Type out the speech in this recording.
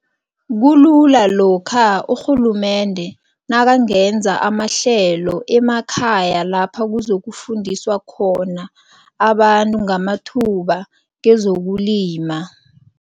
Kulula lokha urhulumende nakangenza amahlelo emakhaya lapha kuzokufundiswa khona abantu ngamathuba kezokulima.